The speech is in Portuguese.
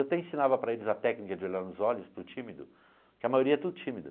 Eu até ensinava para eles a técnica de olhar nos olhos para o tímido, porque a maioria é tudo tímida.